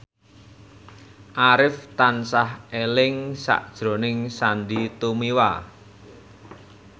Arif tansah eling sakjroning Sandy Tumiwa